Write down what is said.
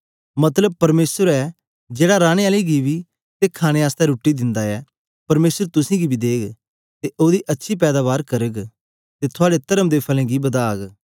मतलब परमेसर ए जेड़ा रानें आले गी बी ते खाणे आसतै रुट्टी दिंदा ऐ परमेसर तुसेंगी बी देग ते ओदी अच्छी पैदाबार करग ते थुआड़े तर्म दे फलें गी बदाग